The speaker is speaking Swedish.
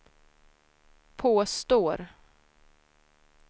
påstår